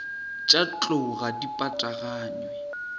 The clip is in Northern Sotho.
tša tlou ga di pataganywe